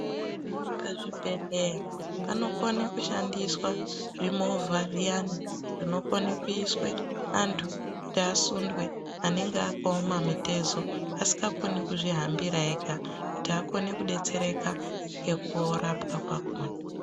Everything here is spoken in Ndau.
Pazvibhehleya panokone kushandiswa zvimovha zviyani zvinokone kuiswe antu kuti asundwe angenge akaoma mitezo asikakoni kuzvihambira ega kuti akone kudetsereka ngekurapwa kwakona.